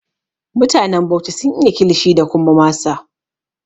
Mutanen Bauchi sun iya Kilishi da kuma masa